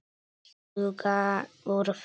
Sjúga úr þeim lífið.